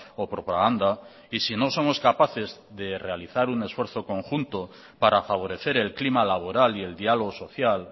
o propaganda y si no somos capaces de realizar un esfuerzo conjunto para favorecer el clima laboral y el diálogo social